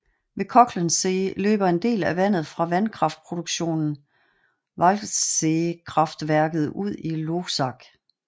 Ved Kochelsee løber en del af vandet fra vandkraftproduktionen Walcheseekraftværket ud i Loisach